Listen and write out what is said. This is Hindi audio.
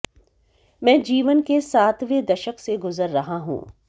मैं जीवन के सातवें दशक से गुजर रहा हूं